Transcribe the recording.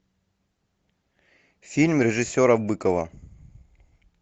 фильм режиссера быкова